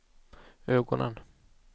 ögonen